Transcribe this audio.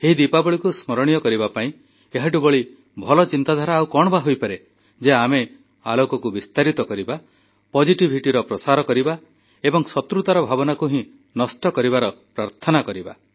ଏହି ଦୀପାବଳିକୁ ସ୍ମରଣୀୟ କରିବା ପାଇଁ ଏହାଠୁ ବଳି ଭଲ ଚିନ୍ତାଧାରା ଆଉ କଣ ବା ହୋଇପାରେ ଯେ ଆମେ ଆଲୋକକୁ ବିସ୍ତାରିତ କରିବା ସକାରାତ୍ମକତାର ପ୍ରସାର କରିବା ଏବଂ ଶତ୍ରୁତା ଭାବନାକୁ ହିଁ ନଷ୍ଟ କରିବାର ପ୍ରାର୍ଥନା କରିବା